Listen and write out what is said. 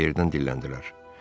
Yerbəyərdən dilləndilər.